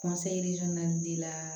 naani d'i la